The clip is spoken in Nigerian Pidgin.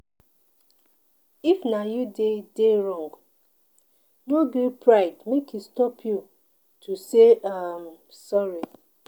If na you dey dey wrong, no gree pride make e stop you to say um sorry.